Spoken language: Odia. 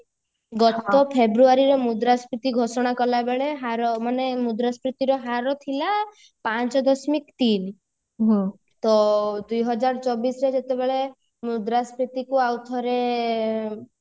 ଗତ ଫ୍ରେବୁୟାରିର ମୃଦା ସ୍ଫୀତି ଘୋଷଣା କରିବା ବେଳେ ହାର ମାନେ ମୁଦ୍ରାସ୍ପୀତି ର ହାର ଥିଲା ପାଞ୍ଚ ଦଶମିକ ତିନ ତ ଦୁଇହାଜର ଚବିଶରେ ଯେତେବେଳେ ମୁଦ୍ରାସ୍ଫୀତି କୁ ଆଉ ଥରେ